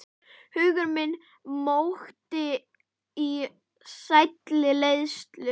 Hugur minn mókti í sælli leiðslu.